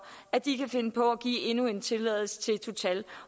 at de kan finde på at give endnu en tilladelse til total